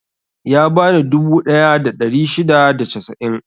Ya bani dubu ɗaya da ɗari shida da casa'in.